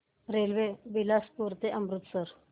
railway Bilaspur ते अमृतसर